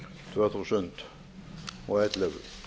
tvö þúsund og ellefu